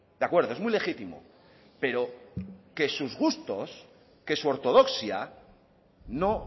de acuerdo es muy legítimo pero que sus gustos que su ortodoxia no